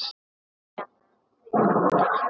Díana fyndna.